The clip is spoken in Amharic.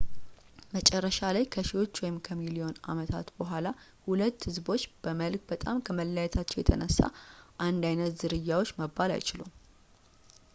መጨረሻ ላይ ከሺዎች ወይም ከሚሊዮን ዓመታት በኋላ ሁለቱ ህዝቦች በመልክ በጣም ከመለያየታቸው የተነሳ አንድ ዓይነት ዝርያዎች መባል አይችሉም